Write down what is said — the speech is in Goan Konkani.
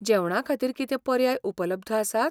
जेवणाखातीर कितें पर्याय उपलब्ध आसात?